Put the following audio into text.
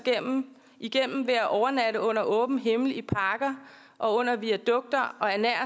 igennem ved at overnatte under åben himmel i parker og under viadukter og ernære